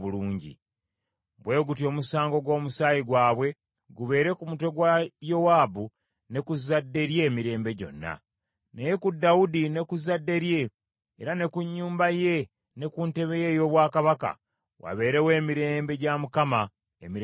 Bwe gutyo omusango gw’omusaayi gwabwe gubeere ku mutwe gwa Yowaabu ne ku zzadde lye emirembe gyonna. Naye ku Dawudi ne ku zzadde lye, era ne ku nnyumba ye ne ku ntebe ye ey’obwakabaka, wabeerewo emirembe gya Mukama emirembe gyonna.”